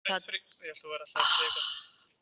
Nökkvi, hvaða dagur er í dag?